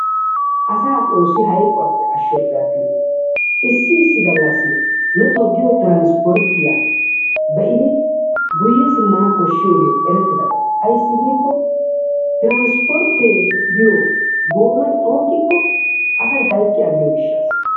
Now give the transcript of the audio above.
Asaa xoossi hayqquwappe ashoppe attin issi issi gallassi nu toggiyo transpportiya be'idi guye simmana koshshiyogee erettidaba ayssi giikko transpportte biyo goomay xuuqqikko asay hayqqi aggiyo gishassa.